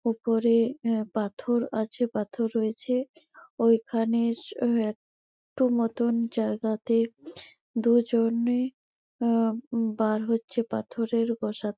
ওপরে এ পাথর আছে পাথর রয়েছেওইখানে স একটু মতন জায়গাতে দুউউজনে উউ বার হচ্ছে পাথরের বসা --